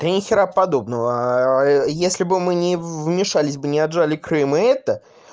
да ни хера подобного если бы мы не вмешались бы не отжали крым и это